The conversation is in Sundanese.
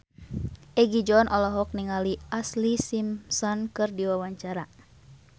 Egi John olohok ningali Ashlee Simpson keur diwawancara